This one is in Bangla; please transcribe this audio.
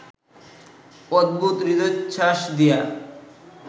উদ্ভূত হৃদয়োচ্ছ্বাস দিয়া